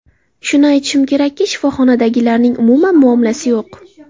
Shuni aytishim kerakki, shifoxonadagilarning umuman muomalasi yo‘q.